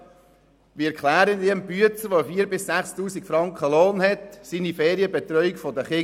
Wie erkläre ich dem «Büetzer», der 4000 bis 6000 Franken Lohn verdient, die Ferienbetreuung seiner Kinder?